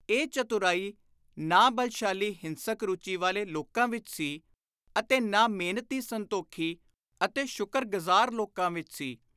ਇਹ ਚਤੁਰਾਈ ਨਾ ਬਲਸ਼ਾਲੀ ਹਿੰਸਕ ਰੁਚੀ ਵਾਲੇ ਲੋਕਾਂ ਵਿਚ ਸੀ ਅਤੇ ਨਾ ਮਿਹਨਤੀ ਸੰਤੋਖੀ ਅਤੇ ਸ਼ੁਕਰ-ਗਜ਼ਾਰ ਲੋਕਾਂ ਵਿਚ ਸੀ।